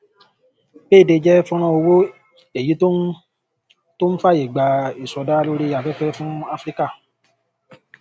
payday jẹ fọnrán owó èyí tó ń tó ń fàyè gba ìsọdá lórí afẹfẹ fún áfíríkà